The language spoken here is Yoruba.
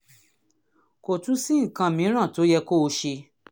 kò tún sí nǹkan mìíràn tó yẹ kó o ṣe